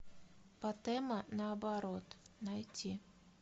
патэма наоборот найти